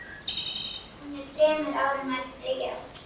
Hún er þremur árum eldri, já.